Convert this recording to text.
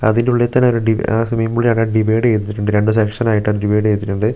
അതിന്റെ ഉള്ളിൽ തന്നെ ഒരു രണ്ട് സെക്ഷൻ ആയിട്ട് അത് ഡിവൈഡ് ചെയ്തിട്ടുണ്ട് --